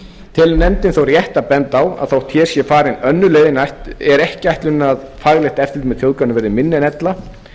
telur nefndin þó rétt að benda á að þótt hér sé farin önnur leið er ekki ætlunin að faglegt eftirlit með þjóðgarðinum verði minna en ella